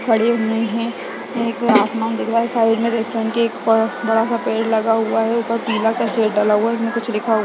खड़े हुए हैं आसमान दिख रहा साइड में रेस्टोरेंट एक बड़ा सा पेड़ लगा हुआ है और ऊपर पीला सा शेड डला हुआ है उसमे कुछ लिखा हुआ है।